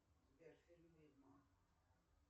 сбер фильм ведьмак